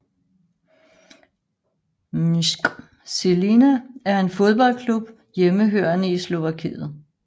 MŠK Žilina er en fodboldklub hjemmehørende i Slovakiet